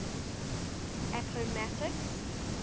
appomattox